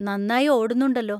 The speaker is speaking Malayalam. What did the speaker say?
നന്നായി ഓടുന്നുണ്ടല്ലോ.